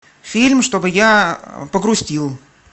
фильм чтобы я погрустил